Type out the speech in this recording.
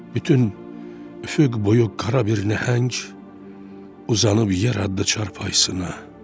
Bütün üfüq boyu qara bir nəhəng uzanıb yer adda çarpayısına.